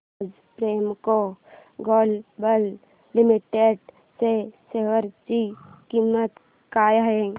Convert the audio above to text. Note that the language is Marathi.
आज प्रेमको ग्लोबल लिमिटेड च्या शेअर ची किंमत काय आहे